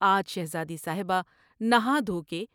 آج شہزادی صاحبہ نہا دھوکے